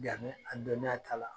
Yani a dɔniya kala